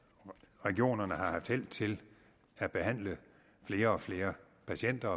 regionerne har haft held til at behandle flere og flere patienter